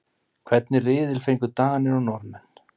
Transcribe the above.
Hvernig riðil fengu Danir og Norðmenn?